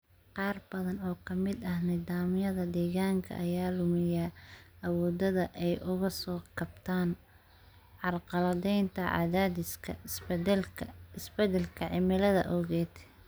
Qaar badan oo ka mid ah nidaamyada deegaanka ayaa luminaya awooddooda ay uga soo kabtaan carqaladaynta cadaadiska isbeddelka cimilada awgeed.